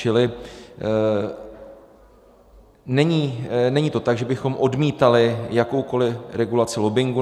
Čili není to tak, že bychom odmítali jakoukoli regulaci lobbingu.